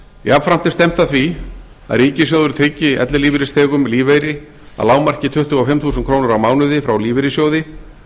jafnframt er stefnt að því að ríkissjóður tryggi ellilífeyrisþegum lífeyri að lágmarki tuttugu og fimm þúsund krónur á mánuði frá lífeyrissjóði